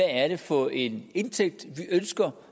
er for en indtægt vi ønsker